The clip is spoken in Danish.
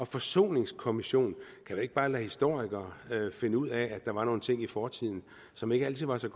forsoningskommission kan jo ikke bare lade historikere finde ud af at der var nogle ting i fortiden som ikke altid var så